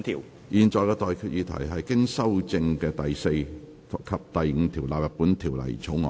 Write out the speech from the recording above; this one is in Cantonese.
我現在向各位提出的待決議題是：經修正的第4及5條納入本條例草案。